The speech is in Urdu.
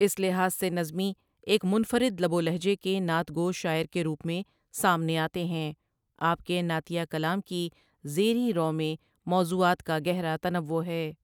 اس لحاظ سے نظمی ایک منفرد لب و لہجے کے نعت گو شاعر کے روٗپ میں سامنے آتے ہیں آپ کے نعتیہ کلام کی زیریں رَو میں موضوعات کا گہرا تنوع ہے ۔